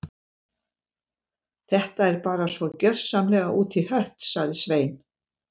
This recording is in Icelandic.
Þetta er bara svo gjörsamlega út í hött- sagði Svein